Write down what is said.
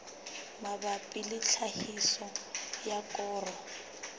mabapi le tlhahiso ya koro